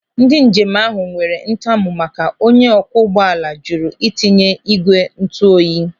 Ndị njem ahụ nwere ntamu maka onye ọkwọ ụgbọala jụrụ itinye ị́gwè ntuoyi.